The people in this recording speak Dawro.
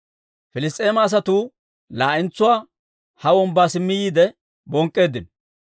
Piliss's'eema asatuu laa'entsuwaa ha wombbaa simmi yiide bonk'k'eeddino.